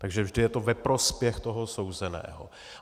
Takže vždy je to ve prospěch toho souzeného.